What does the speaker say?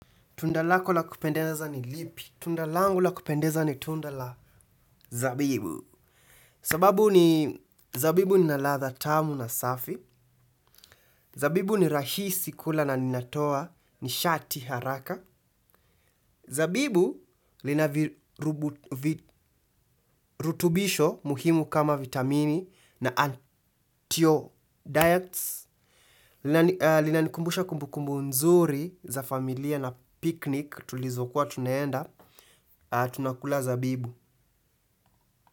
Tundalako la kupendeza ni lipi. Tundalangu la kupendeza ni tunda la zabibu. Sababu ni zabibu linaladha tamu na safi. Zabibu ni rahisi kula na linatoa ni shati haraka. Zabibu linavirutubisho muhimu kama vitamini na anti-o diets. Linanikumbusha kumbukumbu nzuri za familia na picnic tulizokuwa tunaenda. Tunakula zabibu.